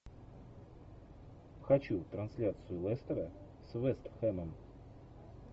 хочу трансляцию лестера с вест хэмом